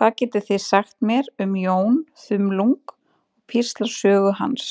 Hvað getið þið sagt mér um Jón þumlung og píslarsögu hans?